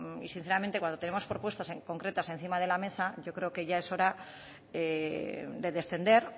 y sinceramente cuando tenemos propuestas concretas encima de la mesa yo creo que ya es hora de descender